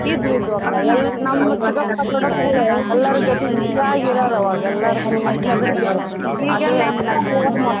ಇದ್ವು ಇದ್ವು ಅಕ್ಕ ನಮ್ ದೊಡಪ್ಗುಳು ಎಲ್ಲಾರೂ ಜೊತಿ ಜೊತಿಯಾಗಿರೋರ್ ಆವಾಗ ಎಲ್ಲಾರ್ಕ್ಕೂ ಅಷ್ಟ್ ಹೆದ್ರಿಕಿ .